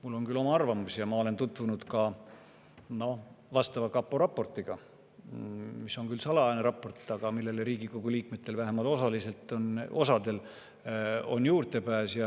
Mul on oma arvamus ja ma olen tutvunud ka kapo raportiga, mis on küll salajane raport, aga millele vähemalt osal Riigikogu liikmetel on juurdepääs.